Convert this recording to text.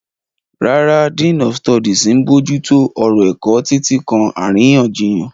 Rárá, Dean of Studies ń bójú tó ọ̀rọ̀ ẹ̀kọ́, títí kan àríyànjiyàn.